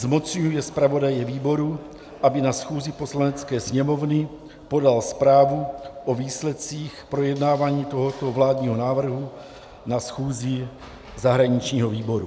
Zmocňuje zpravodaje výboru, aby na schůzi Poslanecké sněmovny podal zprávu o výsledcích projednávání tohoto vládního návrhu na schůzi zahraničního výboru.